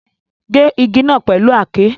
Ge igi naa pẹlu àáké